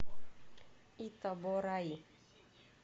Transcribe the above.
итабораи